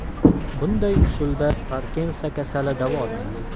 Bunday usulda Parkinson kasali davolanadi.